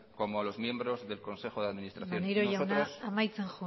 como a los miembros de consejo de administración maneiro jauna amaitzen